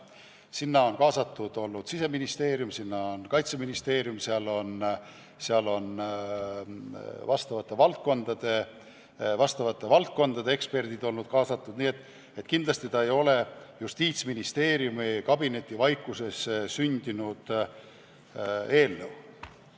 Sinna on kaasatud olnud ka Siseministeerium, Kaitseministeerium, sinna on vastavate valdkondade eksperdid olnud kaasatud, nii et kindlasti ei ole see Justiitsministeeriumi kabinetivaikuses sündinud eelnõu.